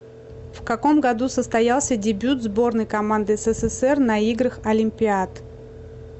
в каком году состоялся дебют сборной команды ссср на играх олимпиад